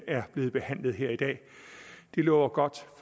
er blevet behandlet her i dag det lover godt